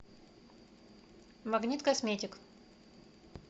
магнит косметик